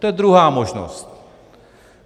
To je druhá možnost.